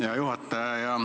Hea juhataja!